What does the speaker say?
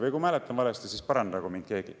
Või kui mäletan valesti, parandagu mind keegi.